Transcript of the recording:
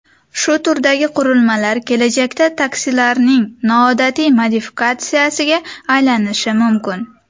Shu turdagi qurilmalar kelajakda taksilarning noodatiy modifikatsiyasiga aylanishi mumkin.